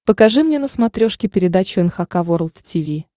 покажи мне на смотрешке передачу эн эйч кей волд ти ви